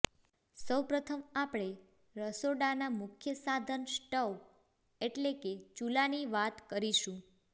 સૌ પ્રથમ આપણે રસોડાના મુખ્ય સાધન સ્ટવ એટલે કે ચૂલાની વાત કરીશું